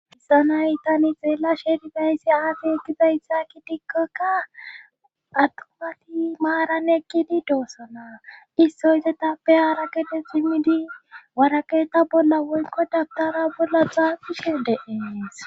Issa nay tani xeela sheeribayssi aafi eqqiday hakki dikkokka attumati maaran ekkidi doossana. Issoy etappe haarakete simmidi woraqeeta bolla woyikko dabitara bolla xaafishe de'ees.